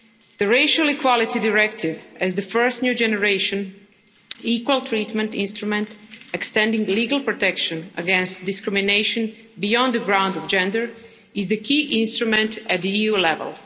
The Racial Equality Directive, as the first new generation equal treatment instrument extending legal protection against discrimination beyond the grounds of gender, is the key instrument at EU level.